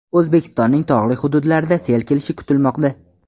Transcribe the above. O‘zbekistonning tog‘li hududlarida sel kelishi kutilmoqda.